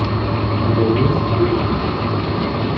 у тебя есть буйный